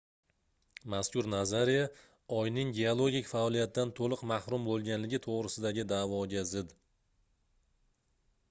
mazkur nazariya oyning geologik faoliyatdan toʻliq mahrum boʻlganligi toʻgʻrisidagi daʼvoga zid